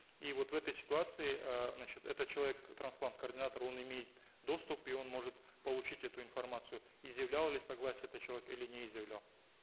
и вот в этой ситуации э значит этот человек трансплант координатор он имеет доступ и он может получить эту информацию изъявлял ли согласие этот человек или не изъявлял